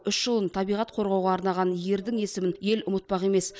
үш жылын табиғат қорғауға арнаған ердің есімін ел ұмытпақ емес